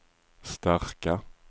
starka